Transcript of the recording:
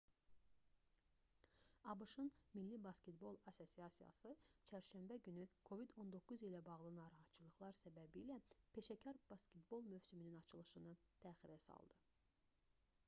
abş-ın milli basketbol assosiasiyası nba çərşənbə günü covid-19 ilə bağlı narahatçılıqlar səbəbilə peşəkar basketbol mövsümünün açılışını təxirə saldı